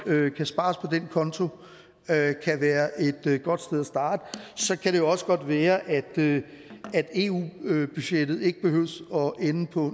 kan spares på den konto kan være et godt sted at starte så kan det også godt være at eu budgettet ikke behøver at ende på